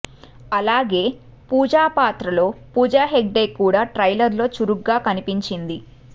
అలాగే పూజా పాత్రలో పూజ హెగ్డే కూడా ట్రైలర్ లో చురుగ్గా కనిపించింది